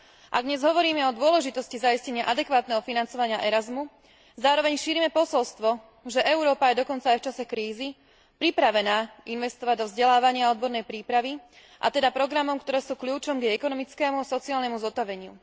Ak dnes hovoríme o dôležitosti zaistenia adekvátneho financovania programu Erasmus, zároveň šírime posolstvo, že Európa je dokonca aj v čase krízy pripravená investovať do vzdelávania a odbornej prípravy, a teda do programov, ktoré sú kľúčom k jej ekonomickému a sociálnemu zotaveniu.